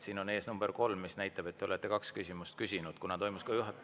Siin on ees nr 3, mis näitab, et te olete 2 küsimust küsinud.